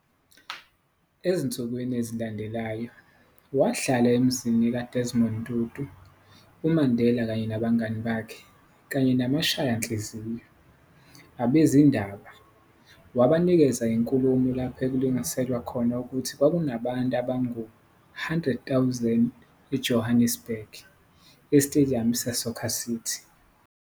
Ezinsukwini ezilandelayo, wahlala emzini ka-Desmond Tutu, uMandela kanye nabangani bakhe kanye namashanhliziyo, abezindaba, wanikeza inkulumo lapho okulinganiselwa khona ukuthi kwakunabantu abangu 100 000 eJohannesburg, esitediyamu se-Soccer City.